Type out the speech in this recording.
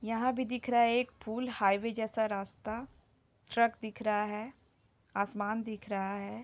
यहाँ भी दिख रहा है एक पुल हाईवे जैसा रास्ता ट्रक दिख रहा है आसमान दिख रहा है।